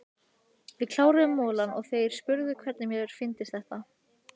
Við kláruðum molann og þeir spurðu hvernig mér fyndist þetta.